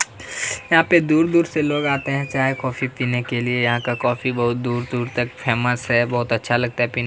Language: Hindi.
यहाँ पे दूर-दूर से लोग आते है चाय कॉफ़ी पीने के लिए यहाँ का कॉफ़ी दूर-दूर तक फेमस है बहुत अच्छा लगता है पीने मे--